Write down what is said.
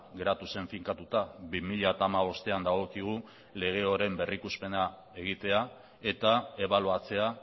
geratu zen finkatuta bi mila hamabostean dagokigu lege horren berrikuspena egitea eta ebaluatzea